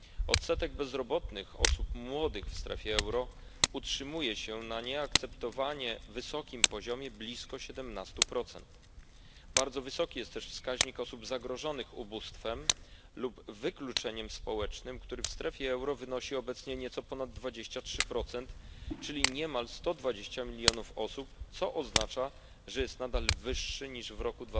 Odsetek bezrobotnych osób młodych w strefie euro utrzymuje się na nieakceptowanie wysokim poziomie blisko 17. Bardzo wysoki jest też wskaźnik osób zagrożonych ubóstwem lub wykluczeniem społecznym, który w strefie euro wynosi obecnie nieco ponad 23, czyli niemal 120 milionów osób, co oznacza, że jest nadal wyższy niż w roku